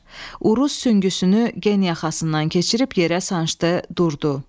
Uruz süngüsünü gen yaxasından keçirib yerə sancdı, durdu.